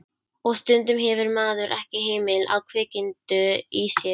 Og stundum hefur maður ekki hemil á kvikindinu í sér.